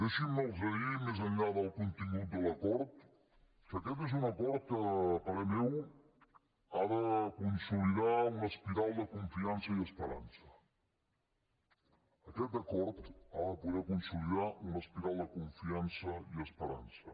deixin me dir los més enllà del contingut del l’acord que aquest és un acord que a parer meu ha de consolidar una espiral de confiança i esperança aquest acord ha de poder consolidar una espiral de confiança i esperança